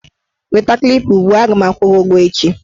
Weta Klipa ugbua! A ga m agwụ gị ụgwọ echi.